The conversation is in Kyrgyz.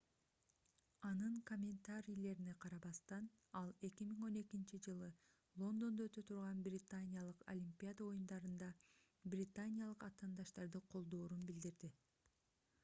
анын комментарийлерине карабастан ал 2012-жылы лондондо өтө турган британиялык олимпиада оюндарында британиялык атаандаштарды колдоорун билдирди